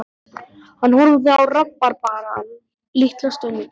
Hann horfði á rabarbarann litla stund.